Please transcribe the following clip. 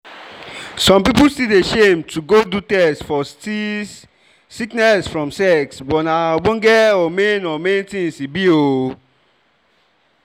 some people still dey shame to go do test for sti {sickness from sex} but na ogbonge or main or main things e be oo